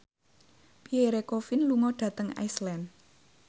Pierre Coffin lunga dhateng Iceland